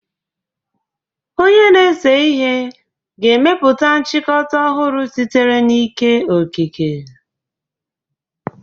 Onye na-ese ihe ga-emepụta nchịkọta ọhụrụ sitere n'ike okike.